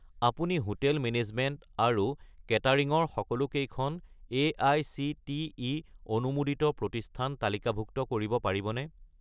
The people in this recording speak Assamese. আপুনি হোটেল মেনেজমেণ্ট আৰু কেটাৰিং ৰ সকলোকেইখন এআইচিটিই অনুমোদিত প্ৰতিষ্ঠান তালিকাভুক্ত কৰিব পাৰিবনে?